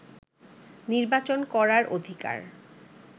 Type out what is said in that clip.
নির্বাচন করার অধিকার